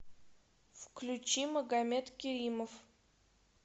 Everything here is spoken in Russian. включи магомед керимов